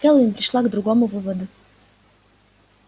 кэлвин пришла к другому выводу